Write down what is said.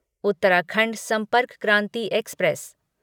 Uttarakhand Sampark Kranti express